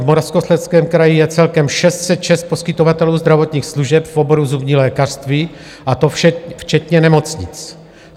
V Moravskoslezském kraji je celkem 606 poskytovatelů zdravotních služeb v oboru zubní lékařství, a to včetně nemocnic.